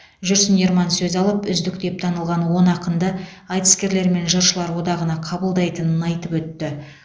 жүрсін ерман сөз алып үздік деп танылған он ақынды айтыскерлер мен жыршылар одағына қабылдайтынын айтып өтті